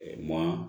maa